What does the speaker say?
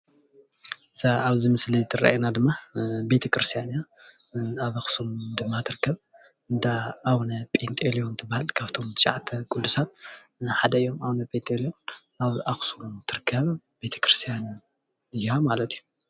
እዚ ኣብ ምስሊ እትረአየና ድማ ቤተ ክርስተያን እያ፡፡ ኣብ ኣክሱም ድማ ትርከብ እንዳ ኣቡነ ጰንጤሎን ትባሃል ካብቶም ትሻዓተ ቁዱሳን ሓደ እዮም፡፡ ኣቡነ ጴንጤሎን ኣብ ኣክሱም እትርከብ ቤተ ክርስትያን እያ ማለት እዩ፡፡